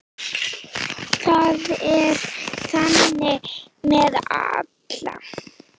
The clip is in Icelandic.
Það er þannig með alla.